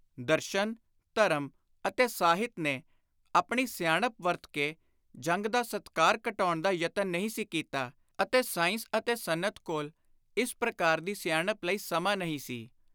ਦਰਸ਼ਨ, ਧਰਮ ਅਤੇ ਸਾਹਿਤ ਨੇ ਆਪਣੀ ਸਿਆਣਪ ਵਰਤ ਕੇ ਜੰਗ ਦਾ ਸਤਿਕਾਰ ਘਟਾਉਣ ਦਾ ਯਤਨ ਨਹੀਂ ਸੀ ਕੀਤਾ ਅਤੇ ਸਾਇੰਸ ਅਤੇ ਸਨਅਤ ਕੋਲ ਇਸ ਪ੍ਰਕਾਰ ਦੀ ਸਿਆਣਪ ਲਈ ਸਮਾਂ ਨਹੀਂ ਸੀ।